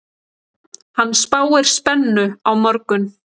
Hann spáir spennu á morgun.